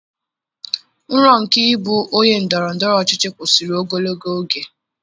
Nrọ nke ịbụ onye ndọrọ ndọrọ ọchịchị kwụsịrị ogologo oge